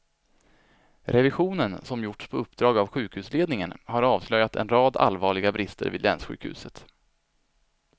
Revisionen, som gjorts på uppdrag av sjukhusledningen, har avslöjat en rad allvarliga brister vid länssjukhuset.